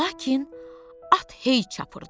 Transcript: Lakin at hey çapırdı.